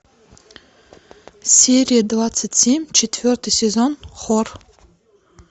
серия двадцать семь четвертый сезон хор